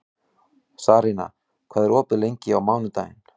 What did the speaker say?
Sarína, hvað er opið lengi á mánudaginn?